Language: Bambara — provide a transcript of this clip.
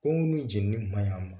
Kungo ninnu jeninni maɲ'an ma